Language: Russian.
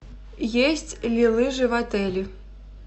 есть ли лыжи в отеле